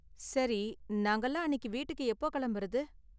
சரி, நாங்கலாம் அன்னிக்கு வீட்டுக்கு எப்போ கிளம்புறது?